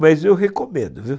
Mas eu recomendo, viu?